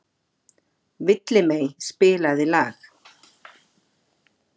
Villimey, spilaðu lag.